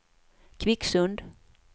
Kvicksund